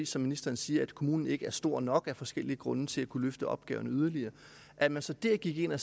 som ministeren siger at kommunen ikke er stor nok af forskellige grunde til at kunne løfte opgaven yderligere at man så der gik ind og